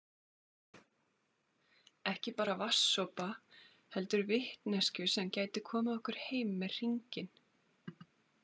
Ekki bara vatnssopa heldur vitneskju sem gæti komið okkur heim með hringinn